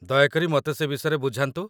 ଦୟା କରି ମତେ ସେ ବିଷୟରେ ବୁଝାନ୍ତୁ